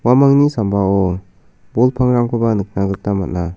uamangni sambao bol pangrangkoba nikna gita man·a.